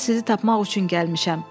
bura sizi tapmaq üçün gəlmişəm.